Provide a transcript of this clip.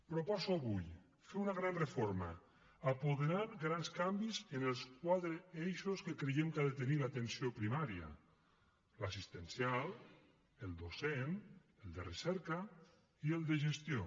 proposo avui fer una gran reforma i apoderar grans canvis en els quatre eixos que creiem que ha de tenir l’atenció primària l’assistencial el docent el de recerca i el de gestió